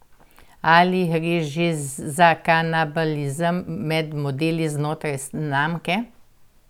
Ali gre že za kanibalizem med modeli znotraj znamke?